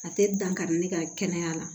A tɛ dankari ne ka kɛnɛya la